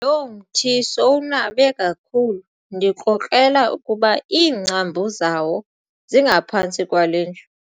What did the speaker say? Lo mthi sowunabe kakhulu ndikrokrela ukuba iingcambu zawo zingaphantsi kwale ndlu.